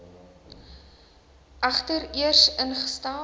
egter eers ingestel